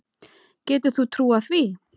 Getur þú trúað því?